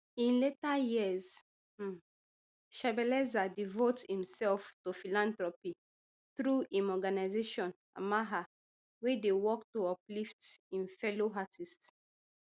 in later years um shebeleza devote himself to philanthropy through im organisation amaha wey dey work to uplift im fellow artists